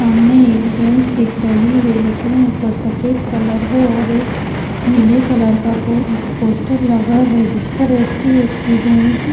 सामने एक बैंक दिख रही है जिसमें ऊपर सफेद कलर है और एक नीले कलर का पो पोस्टर लगा है जिस पर एच_डी_एफ_सी बैंक --